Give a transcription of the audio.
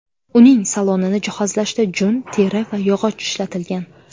Uning salonini jihozlashda jun, teri va yog‘och ishlatilgan.